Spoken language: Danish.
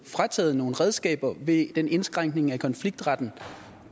frataget nogle redskaber ved den indskrænkning af konfliktretten